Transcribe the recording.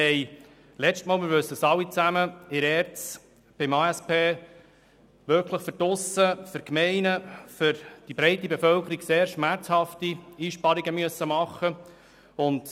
Wir mussten im Rahmen der letzten ASP sehr schmerzhafte Einsparungen bei der ERZ für die breite Bevölkerung und die Gemeinden beschliessen.